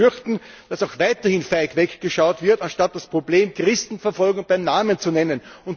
Daher ist zu befürchten, dass auch weiterhin feig weggeschaut wird, anstatt das Problem der Christenverfolgung beim Namen zu nennen.